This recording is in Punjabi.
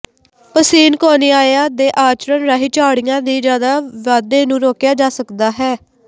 ਪਸੀਨਕੋਨੀਆਿਆ ਦੇ ਆਚਰਣ ਰਾਹੀਂ ਝਾੜੀਆਂ ਦੀ ਜ਼ਿਆਦਾ ਵਾਧੇ ਨੂੰ ਰੋਕਿਆ ਜਾ ਸਕਦਾ ਹੈ